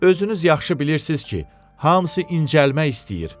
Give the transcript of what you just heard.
Özünüz yaxşı bilirsiz ki, hamısı incəlmək istəyir.